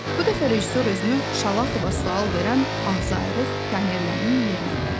Bu dəfə rejissor özünü Şalaxova sual verən ağzıayrıq pionerlərin yerinə qoydu.